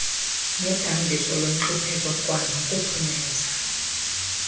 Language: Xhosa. nodambiso lwentlupheko kwanokuphumeza